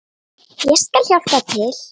Ég skal hjálpa til.